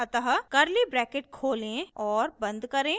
अतः curly brackets खोलें और बंद करें